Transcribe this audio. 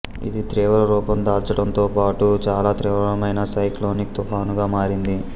ఇది తీవ్రరూపం దాల్చడంతోపాటు చాలా తీవ్రమైన సైక్లోనిక్ తుఫానుగా మారింది